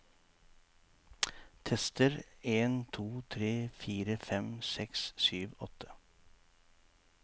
Tester en to tre fire fem seks sju åtte